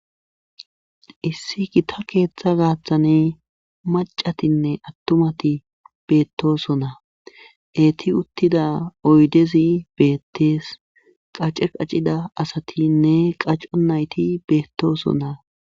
issi kita keeththa gaaththane macatinne attumati beettosonna eeti uttida oydezi beettees qace qacida asatinne qaco nayti beettoosonnaa